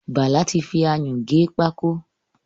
Bàlá ti fi ayún gé pákó.